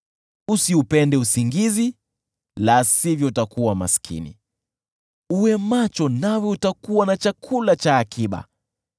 Usiupende usingizi la sivyo utakuwa maskini, uwe macho nawe utakuwa na chakula cha akiba.